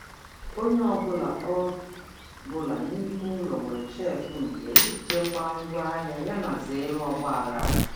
Onye ọ bụla ọ bụla n'ime ụlọ nwere shelf nke ya iji chekwaa ngwa ahịa yana zere ọgba aghara.